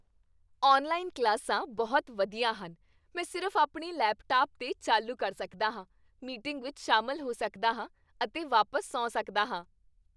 online ਕਲਾਸਾਂ ਬਹੁਤ ਵਧੀਆ ਹਨ ਮੈਂ ਸਿਰਫ਼ ਆਪਣੇ ਲੈਪਟਾਪ 'ਤੇ ਚਾਲੂ ਕਰ ਸਕਦਾ ਹਾਂ, ਮੀਟਿੰਗ ਵਿੱਚ ਸ਼ਾਮਲ ਹੋ ਸਕਦਾ ਹਾਂ ਅਤੇ ਵਾਪਸ ਸੌਂ ਸਕਦਾ ਹਾਂ